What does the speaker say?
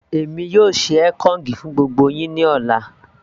èmi yóò ṣe ekong fún gbogbo yín ní ọ̀la